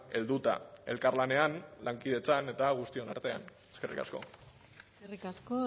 helduta elkarlanean lankidetzan eta guztion artean eskerrik asko eskerrik asko